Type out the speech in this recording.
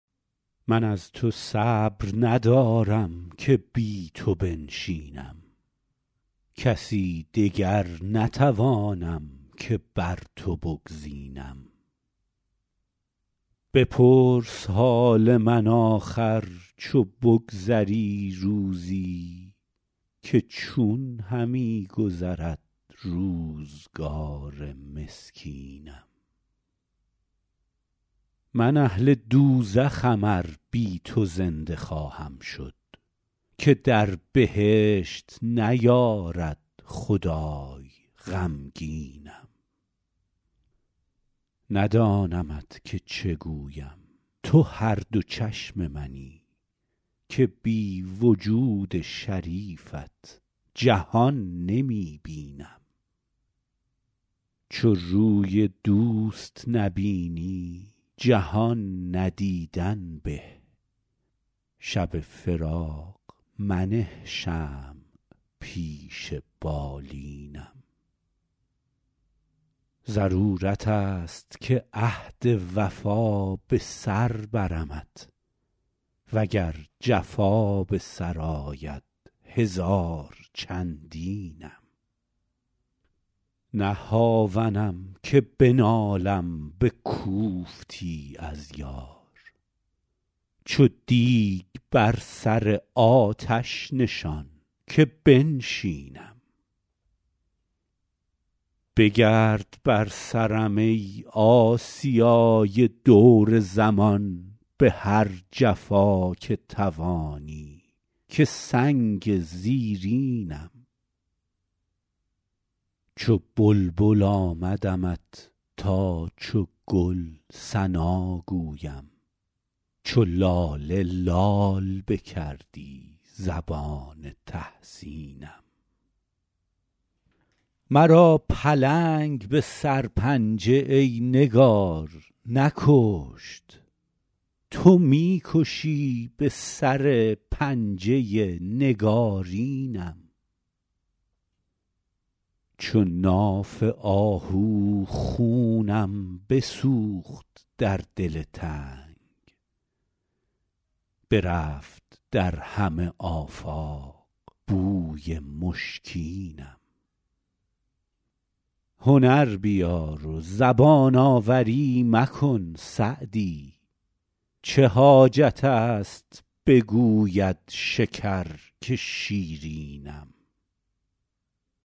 من از تو صبر ندارم که بی تو بنشینم کسی دگر نتوانم که بر تو بگزینم بپرس حال من آخر چو بگذری روزی که چون همی گذرد روزگار مسکینم من اهل دوزخم ار بی تو زنده خواهم شد که در بهشت نیارد خدای غمگینم ندانمت که چه گویم تو هر دو چشم منی که بی وجود شریفت جهان نمی بینم چو روی دوست نبینی جهان ندیدن به شب فراق منه شمع پیش بالینم ضرورت است که عهد وفا به سر برمت و گر جفا به سر آید هزار چندینم نه هاونم که بنالم به کوفتی از یار چو دیگ بر سر آتش نشان که بنشینم بگرد بر سرم ای آسیای دور زمان به هر جفا که توانی که سنگ زیرینم چو بلبل آمدمت تا چو گل ثنا گویم چو لاله لال بکردی زبان تحسینم مرا پلنگ به سرپنجه ای نگار نکشت تو می کشی به سر پنجه نگارینم چو ناف آهو خونم بسوخت در دل تنگ برفت در همه آفاق بوی مشکینم هنر بیار و زبان آوری مکن سعدی چه حاجت است بگوید شکر که شیرینم